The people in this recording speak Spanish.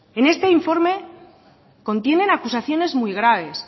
en este informe contienen acusaciones muy graves